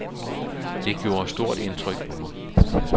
Det gjorde stort indtryk på mig.